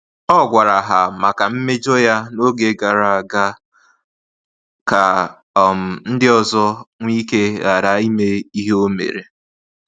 Ọ gwara ha maka mmejọ ya na-oge gara aga ka um ndị ọzọ nweike ghara ime ihe o mere